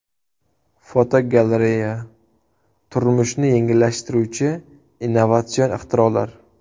Fotogalereya: Turmushni yengillashtiruvchi innovatsion ixtirolar.